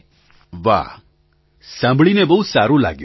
પ્રધાનમંત્રી વાહ સાંભળીને બહુ સારું લાગ્યું